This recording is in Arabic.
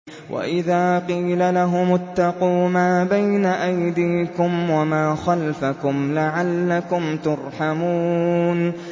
وَإِذَا قِيلَ لَهُمُ اتَّقُوا مَا بَيْنَ أَيْدِيكُمْ وَمَا خَلْفَكُمْ لَعَلَّكُمْ تُرْحَمُونَ